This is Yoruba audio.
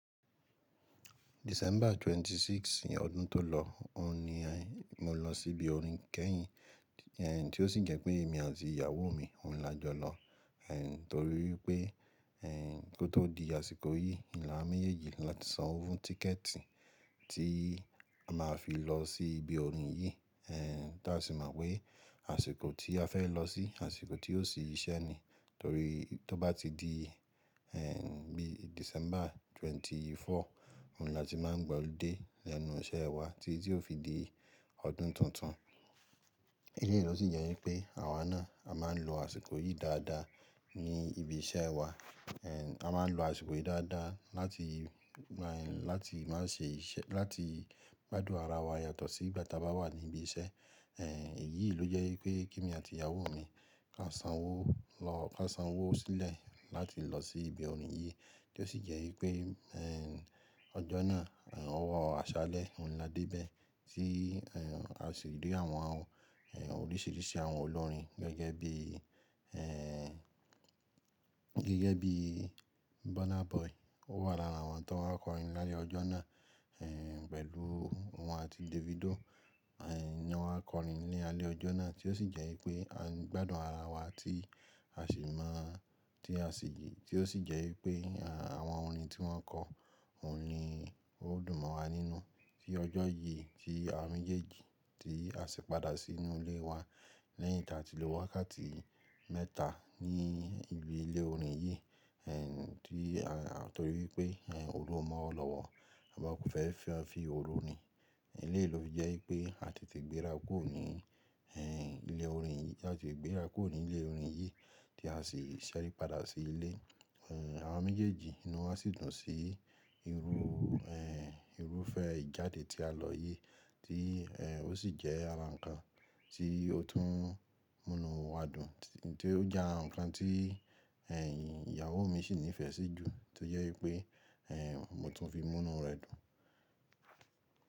December 26th ní ọdún tó lọ, òun ni mo lọ sí ibi orin kẹ́yìn, tí ó sì jẹ́ pé èmi àti ìyàwó mi, òun la jọ lọ, torí wípé kó tó di àsìkò yìí, òun l'àwa méjèèjì la ti san owó fún tíkẹ̀ẹ̀tì tí a máa fi lọ sí ibi orin yìí. Tí a sì mọ̀ pé àsìkò tí a fẹ́ lọ sí, àsìkò tí yóò ṣí iṣẹ́ ni. Torí tó bá ti di bí December 24, òun ni a ti máa gba ọludé lẹ́nu iṣẹ́ wa tí yóò fi di ọdún tuntun. Èyí ló sì jẹ́ wípé àwa náà, a máa ń lo àsìkò yìí dáadáa ní ibi iṣẹ́ wa. A máa ń lo àsìkò yìí dáadáa láti, láti má ṣe iṣẹ́, láti gbádùn ara wa yàtọ̀ sí ìgbà tí a bá wà ní ibi iṣẹ́. Èyíì ló jẹ́ wípé kí èmi àti ìyàwó mi, ká san owó lọ, ká san owó sílẹ̀ láti lọ sí ibi orin yìí tí ó sì jẹ́ wípé ọjọ́ náà, ọwọ́ àṣálẹ́ òun ni a dé bẹ́ẹ̀ tí a sì rí àwọn, àwọn oríṣìíríṣìí àwọn olórin gẹ́gẹ́ bíi, gẹ́gẹ́ bíi Burna Boy. Ó wà lára àwọn tán wá kọrin lálẹ́ ọjọ́ náà pẹ̀lú òun àti Davido ni wọ́n kọrin ní alẹ́ ọjọ́ náà tí ó sì jẹ́ wípé a ń gbádùn ara wa tí a sì mọ̀, tí a sì, tí ó sì jẹ́ wípé àwọn orin tí wọ́n kọ, òun ni ó dùn mọ́ wa nínú. Tí ọjọ́ yìí tí awa méjèèjì tí a sì padà sí inú ilé wa lẹ́yìn ta ti lò wákàtí mẹ́ta ní ibi ilé orin yìí, tí torí wípé oru mo o lọwọ, a mo kò fẹ́ fi ọ́ fi oru rin. Eleyi ló fi jẹ́ wípé a te te gbéra kúrò ní ilé orin yìí, ti a tete gbéra kúrò ní ilé orin yìí tí a sì ṣẹ́ rí padà sí ilé. Àwa méjèèjì inú wa sì dùn sí irú, irúfẹ́ ìjáde tí a lọ yìí tí ó sì jẹ́ ara ǹkan tí ó tún múnu wá dùn tí ó jẹ́ àrà nkàn tí è ìyàwó mi sì nífẹ̀ẹ́ sí jù tó jẹ́ wípé mo tún fi múnu rẹ̀ dùn.